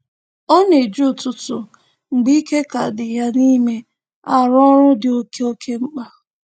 Ọ na-eji ụtụtụ mgbe ike ka dị ya n'ime arụ ọrụ dị oke oke mkpa